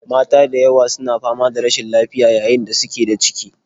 Mata da yawa su na fama da rashin lafiya yayin da suke da ciki